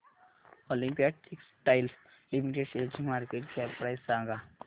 Olympia textiles limited शेअरची market cap price सांगा